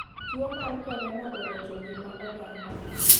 Tuo mar korona orocho ng'ima oganda.